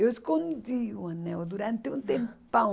Eu escondi o anel durante um tempão.